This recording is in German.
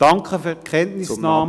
Danke für die Kenntnisnahme …